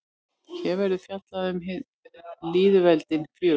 Hér verður fjallað um hin lýðveldin fjögur.